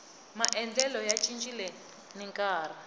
maendlelo ya cincile ni nkarhi